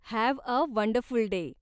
Have a wonderful day!